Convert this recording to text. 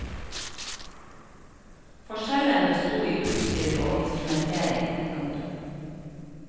Forskjellen besto i utstyr og instrumentering. punktum